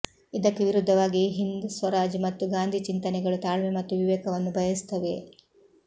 ಇದಕ್ಕೆ ವಿರುದ್ಧವಾಗಿ ಹಿಂದ್ ಸ್ವರಾಜ್ ಮತ್ತು ಗಾಂಧಿ ಚಿಂತನೆಗಳು ತಾಳ್ಮೆ ಮತ್ತು ವಿವೇಕವನ್ನು ಬಯಸುತ್ತವೆ